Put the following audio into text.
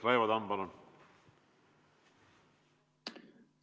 Raivo Tamm, palun!